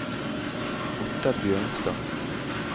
Ottar Bjørnstad